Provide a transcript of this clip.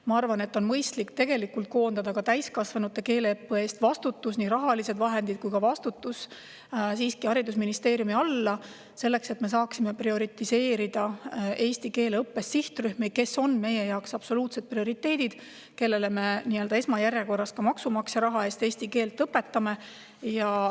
Ma arvan, et on mõistlik koondada nii rahalised vahendid kui ka vastutus täiskasvanute keeleõppe eest siiski haridusministeeriumi alla, et me saaksime prioritiseerida eesti keele õppes sihtrühmi, kes on meie jaoks absoluutsed prioriteedid, kellele me esmajärjekorras ka maksumaksja raha eest eesti keelt õpetame.